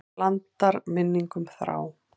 Blandar minningum þrá.